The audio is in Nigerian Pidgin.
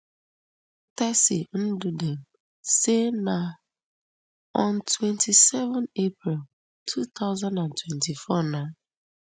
tessy ndudim say na on twenty-seven april two thousand and twenty-four na